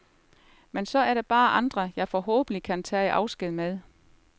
Men så er der andre, jeg forhåbentlig kan tage afsked med.